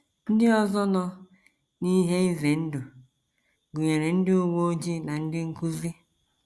Ndị ọzọ nọ n’ihe ize ndụ gụnyere ndị uwe ojii na ndị nkụzi.